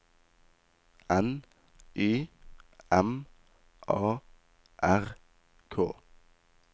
N Y M A R K